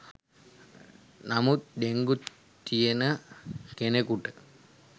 නමුත් ඩෙංගු තියෙන කෙනෙකුට